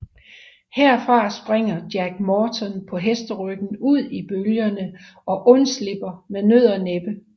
Herfra springer Jack Morton på hesteryggen ud i bølgerne og undslipper med nød og næppe